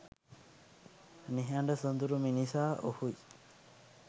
නිහඬ සොදුරු මිනිසා ඔහුයි